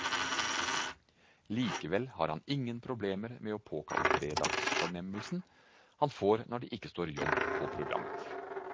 Likevel har han ingen problemer med å påkalle fredagsfornemmelsen han får når det ikke står jobb på programmet.